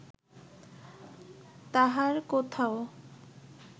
তাহার কোথাও